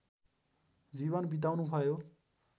जीवन बिताउनुभयो